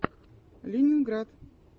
ленинград